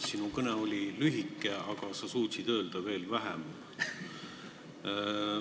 Sinu kõne oli lühike, aga sa suutsid öelda veel vähem.